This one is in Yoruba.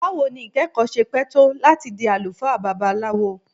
Bawo ni ikẹkọ ṣe pẹ to lati di alufaa Babalawo?